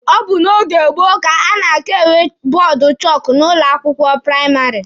Ọ bụ na oge gboo ka a na-aka enwe bọọdụ chọọkụ n'ụlọ akwụkwọ praịmarị.